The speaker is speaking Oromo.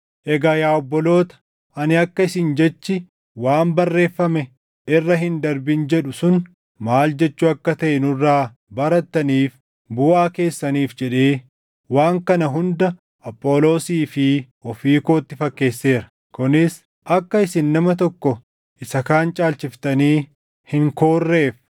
Egaa yaa obboloota, ani akka isin jechi, “Waan barreeffame irra hin darbin” jedhu sun maal jechuu akka taʼe nurraa barattaniif buʼaa keessaniif jedhee waan kana hunda Apholoosii fi ofii kootti fakkeesseera; kunis akka isin nama tokko isa kaan caalchiftanii hin koorreef.